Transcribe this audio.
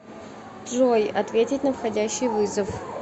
джой ответить на входящий вызов